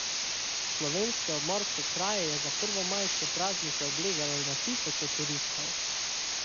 Slovenske obmorske kraje je za prvomajske praznike oblegalo na tisoče turistov.